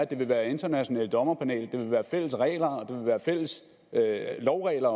det vil være et internationalt dommerpanel at det vil være fælles regler at det også vil være fælles lovregler